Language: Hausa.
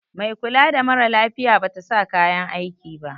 Mai kula da mara lafiya Bata sa kayan aiki ba.